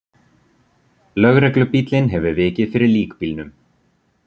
Lögreglubíllinn hefur vikið fyrir líkbílnum.